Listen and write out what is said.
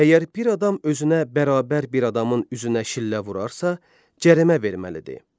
Əgər bir adam özünə bərabər bir adamın üzünə şillə vurarsa, cərimə verməlidir.